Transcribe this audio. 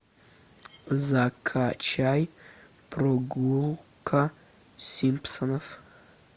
закачай прогулка симпсонов